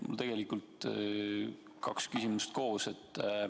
Mul on tegelikult kaks küsimust koos.